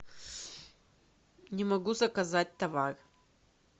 не могу заказать товар